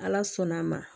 Ala sɔnn'an ma